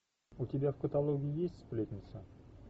у тебя в каталоге есть сплетница